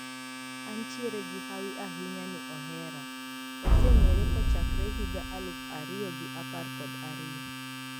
Antiere gi hawi ahinya ni ohera, waseng`ere kochakre higa aluf ariyo gi apar kod ariyo.